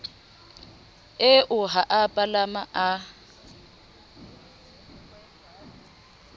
eo ha a palama a